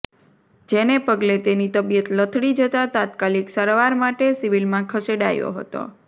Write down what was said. જેને પગલે તેની તબિયત લથડી જતા તાત્કાલિક સારવાર માટે સિવિલમાં ખસેડાયો હતો